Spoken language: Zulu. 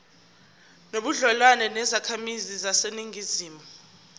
nobudlelwane nezakhamizi zaseningizimu